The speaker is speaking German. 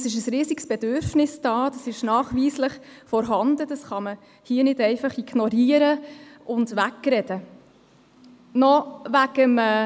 Es ist nachweislich ein riesiges Bedürfnis vorhanden, dies kann man hier nicht einfach ignorieren und wegdiskutieren.